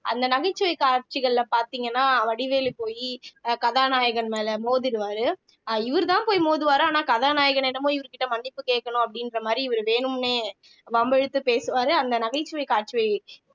அந்த நகைச்சுவை காட்சிகள்ல பாத்தீங்கன்னா வடிவேலு போயி அஹ் கதாநாயகன் மேல மோதிடுவாரு இவருதான் போய் மோதுவாரு ஆனா கதாநாயகனிடமும் இவர் கிட்ட மன்னிப்பு கேட்கணும் அப்படின்ற மாதிரி இவரு வேணும்னே வம்பிழுத்து பேசுவாரு அந்த நகைச்சுவை காட்சியை